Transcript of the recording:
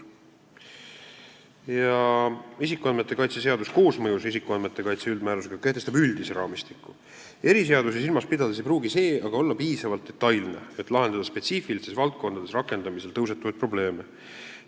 Isikuandmete kaitse seadus koosmõjus isikuandmete kaitse üldmäärusega kehtestab üldise raamistiku, eriseadusi silmas pidades ei pruugi see aga olla piisavalt detailne, et lahendada spetsiifilistes valdkondades rakendamisel tõusetuvaid probleeme.